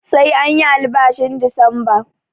Sai anyi albashin Disamba